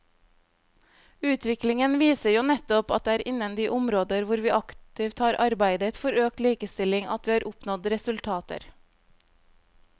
Utviklingen viser jo nettopp at det er innen de områder hvor vi aktivt har arbeidet for økt likestilling at vi har oppnådd resultater.